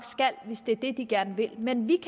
skal hvis det er det de gerne vil men vi